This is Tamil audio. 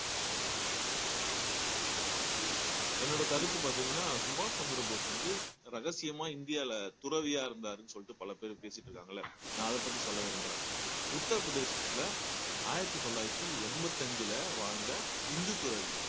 என்னோட கருத்து பார்த்தீங்கன்னா சுபாஷ் சந்திரபோஸ் வந்து ரகசியமா இந்தியால துறவியா இருந்தாருன்னு சொல்லிட்டு பல பேரு பேசிட்டு இருக்காங்கல்ல நான் அதைப்பத்தி சொல்ல விரும்புறேன் உத்திரப்பிரதேசத்துல ஆயிரத்தி தொள்ளாயிரத்தி எண்பத்தி அஞ்சுல வாழ்ந்த இந்து துறவி